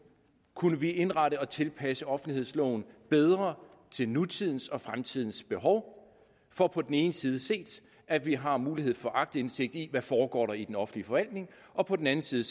kunne indrette og tilpasse offentlighedsloven bedre til nutidens og fremtidens behov for på den ene side at vi har mulighed for aktindsigt i hvad der foregår i den offentlige forvaltning og på den anden side